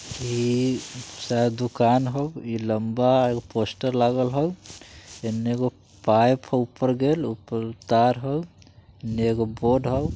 इ शायद दुकान हो इ लंबा एगो पोस्टर लागल हो| इन्य एगो पाइप हो ऊपर गेल ऊपर तार हो एगो बोर्ड हो।